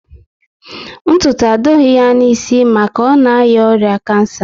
Ntutu adịghị ya na isi maka ọ na aria oya kansa